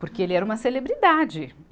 Porque ele era uma celebridade.